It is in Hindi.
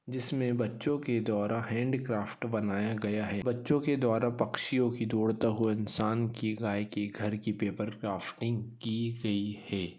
जिसमे बच्चों के द्वारा हॅंडीक्राफ्ट बनाया गया हैं बच्चों के द्वारा पक्षियों की दौड़ता हुआ इंसान की गाय की घर की पेपर क्राफ्टिंग की गयी हैं।